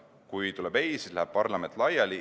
Kui tuleb "ei", siis läheb parlament laiali.